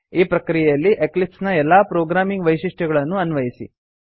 ಈ ಪ್ರಕ್ರಿಯೆಯಲ್ಲಿ ಎಕ್ಲಿಪ್ಸ್ ನ ಎಲ್ಲಾ ಪ್ರೊಗ್ರಾಮಿಂಗ್ ವೈಶಿಷ್ಟ್ಯಗಳನ್ನೂ ಅನ್ವಯಿಸಿ